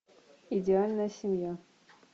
идеальная семья